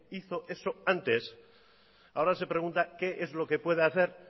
hizo eso antes ahora se pregunta qué es lo que puede hacer